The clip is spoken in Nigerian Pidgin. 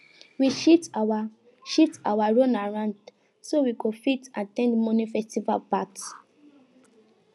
we shift our shift our runaround so we go fit at ten d morning festival part